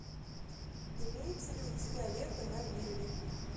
имеется ли у тебя лето на вилле